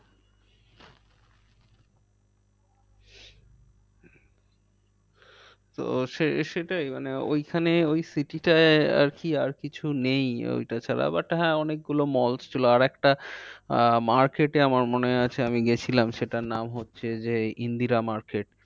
তো সে সেটাই মানে ওইখানে ওই city টায় আর কি আর কিছু নেই ওইটা ছাড়া but হ্যাঁ অনেক গুলো malls ছিল। আর একটা আহ market এ আমার মনে আছে আমি গিয়েছিলাম সেটার নাম হচ্ছে যে ইন্দ্রিরা market